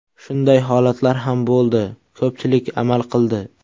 Shunday holatlar ham bo‘ldi, ko‘pchilik amal qildi.